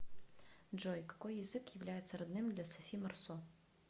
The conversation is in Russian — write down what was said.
джой какои язык является родным для софи марсо